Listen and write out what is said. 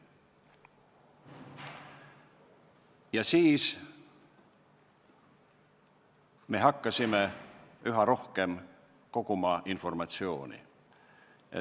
Ja siis me hakkasime koguma üha rohkem informatsiooni.